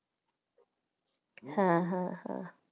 হ্যাঁ হ্যাঁ হ্যাঁ